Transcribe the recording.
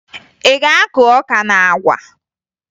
Ị ga-akụ ọka na àgwà?